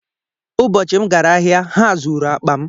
Ụbọchị m gara ahịa, ha zuru akpa m